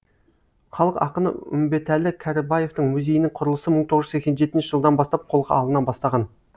халық ақыны үмбетәлі кәрібаевтың музейінің құрылысы мың тоғыз жүз сексен жетінші жылдан бастап қолға алына бастаған